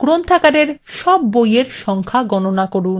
1 গ্রন্থাগারে সব বইয়ের সংখ্যা গণনা করুন